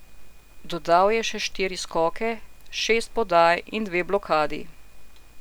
Dodal je še štiri skoke, šest podaj in dve blokadi.